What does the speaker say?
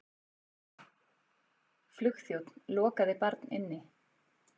Flugþjónn lokaði barn inni